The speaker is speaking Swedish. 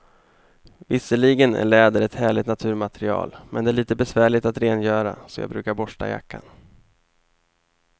Visserligen är läder ett härligt naturmaterial, men det är lite besvärligt att rengöra, så jag brukar borsta jackan.